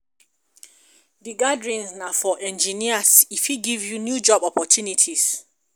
Di gathering na for engineers, e fit give you new job opportunities.